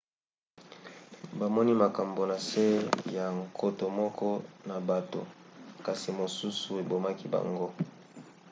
bamoni makambo na se ya nkoto moko na bato kasi mosusu ebomaki bango